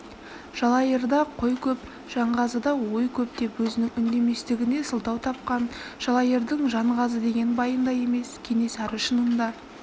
жалайырда қой көп жанғазыда ой көп деп өзінің үндеместігіне сылтау тапқан жалайырдың жанғазы деген байындай емес кенесары шынында